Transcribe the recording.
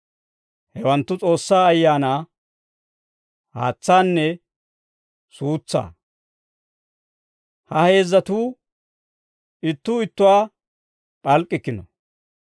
Hewanttu, S'oossaa Ayaanaa, haatsaanne suutsaa; ha heezzatuu ittuu ittuwaawaa p'alk'k'ikkino.